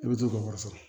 I bɛ t'o ka wari sɔrɔ